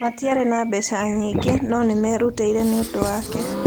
Matiarĩ na mbeca nyingĩ, no nĩ meerutĩire nĩ ũndũ wake.